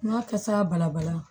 N'a kasa balabala